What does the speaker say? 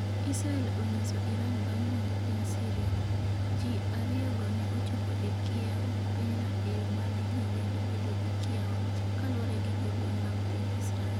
Israel onyiso Iran bang’ monjo piny Syria, Jii ariyo go ne ochopo e kiewo pinyno e yo ma ne ji nyalo bedo gi kiawa, kaluwore gi jolweny mag piny Israel.